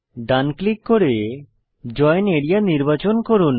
ডান click করে join area নির্বাচন করুন